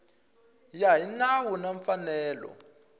ya hi nawu na mfanelo